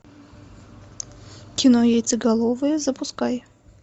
кино яйцеголовые запускай